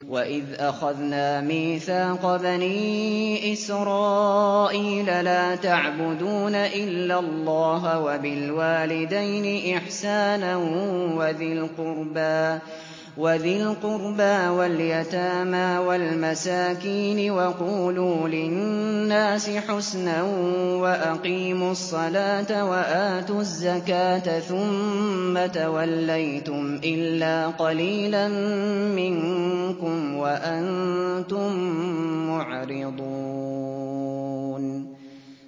وَإِذْ أَخَذْنَا مِيثَاقَ بَنِي إِسْرَائِيلَ لَا تَعْبُدُونَ إِلَّا اللَّهَ وَبِالْوَالِدَيْنِ إِحْسَانًا وَذِي الْقُرْبَىٰ وَالْيَتَامَىٰ وَالْمَسَاكِينِ وَقُولُوا لِلنَّاسِ حُسْنًا وَأَقِيمُوا الصَّلَاةَ وَآتُوا الزَّكَاةَ ثُمَّ تَوَلَّيْتُمْ إِلَّا قَلِيلًا مِّنكُمْ وَأَنتُم مُّعْرِضُونَ